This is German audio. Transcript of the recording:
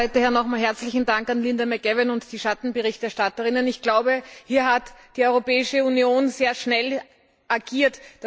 Auch von meiner Seite nochmals herzlichen Dank an Linda McAvan und die Schattenberichterstatter. Ich glaube, hier hat die Europäische Union sehr schnell agiert.